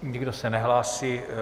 Nikdo se nehlásí.